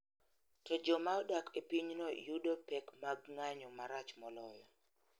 To joma odak e pinyno yudo pek mag ng�anjo marach moloyo.